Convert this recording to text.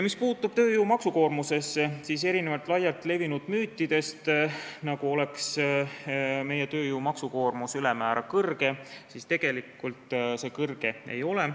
Mis puutub tööjõu maksukoormusesse, siis erinevalt laialt levinud müütidest, nagu oleks meie tööjõu maksukoormus ülemäära kõrge, tegelikult see kõrge ei ole.